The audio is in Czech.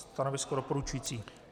Stanovisko doporučující.